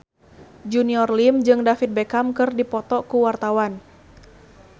Junior Liem jeung David Beckham keur dipoto ku wartawan